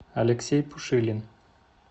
алексей пушилин